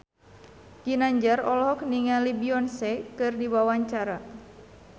Ginanjar olohok ningali Beyonce keur diwawancara